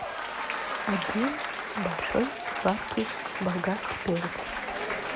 один большой сладкий болгарский перец